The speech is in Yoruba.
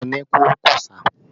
Iyabọ̀ ni kúrú-kùsà